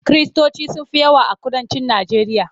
Kiristoci sun fi yawa a kudancin Najeriya.